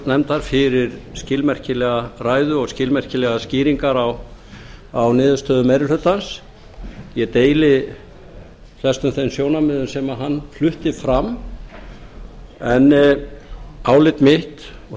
viðskiptanefndar fyrir skilmerkilega ræðu og skilmerkilegar skýringar á niðurstöðu meiri hlutans ég deili flestum þeim sjónarmiðum sem hann flutti fram en álit mitt og